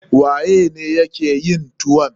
Waye ne ya ke yin tuwon?